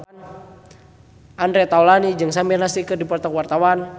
Andre Taulany jeung Samir Nasri keur dipoto ku wartawan